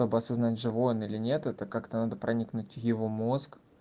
как бы осознать живой он или нет это как-то надо проникнуть в его мозг